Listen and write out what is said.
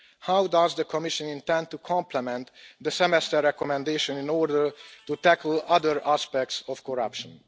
How does the Commission intend to complement the Semester recommendation in order to tackle other aspects of corruption?